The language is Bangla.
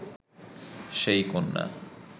সেই কন্যা